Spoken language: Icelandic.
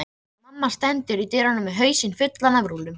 Mamma stendur í dyrunum með hausinn fullan af rúllum.